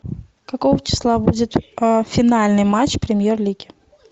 какого числа будет финальный матч премьер лиги